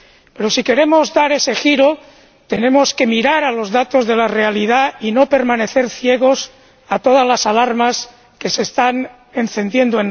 Pero si queremos dar ese giro, tenemos que mirar los datos de la realidad y no permanecer ciegos a todas las alarmas que se están encendiendo.